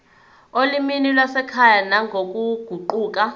olimini lwasekhaya nangokuguquka